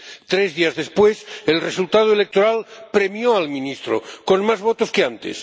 Tres días después, el resultado electoral premió al ministro con más votos que antes.